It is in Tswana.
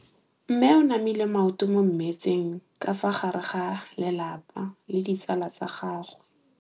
Mme o namile maoto mo mmetseng ka fa gare ga lelapa le ditsala tsa gagwe.